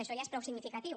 això ja és prou significatiu